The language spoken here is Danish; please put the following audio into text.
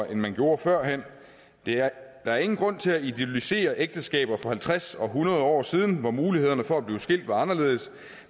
end vi gjorde førhen der er ingen grund til at idyllisere ægteskaber for halvtreds og hundrede år siden hvor mulighederne for at blive skilt var anderledes